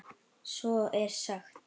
Svo er sagt.